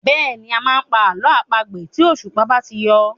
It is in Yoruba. Bẹ́ẹ̀ni, a máa ń pa àlọ́ àpagbè tí òṣùpá bá ti yọ.